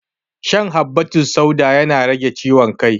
Shan habbatussauda yana rage ciwon kai